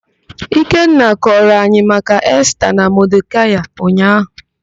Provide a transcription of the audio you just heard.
Ikenna kọrọ anyị maka Esta na Modekaị ụnyaahụ.